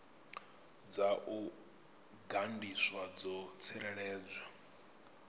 dza u gandiswa dzo tsireledzwa